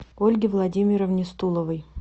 ольге владимировне стуловой